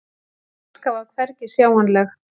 Sú danska var hvergi sjáanleg.